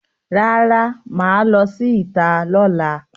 Rara, maa lo si ita lola.